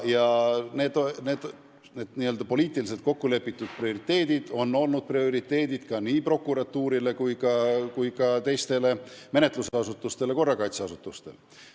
Need poliitiliselt kokku lepitud prioriteedid on olnud prioriteedid nii prokuratuurile kui ka korrakaitseasutustele.